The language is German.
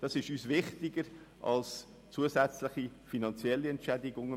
Dies ist uns wichtiger als zusätzliche finanzielle Entschädigungen.